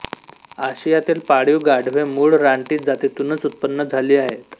आशियातील पाळीव गाढवे मूळ रानटी जातीतूनच उत्पन्न झाली आहेत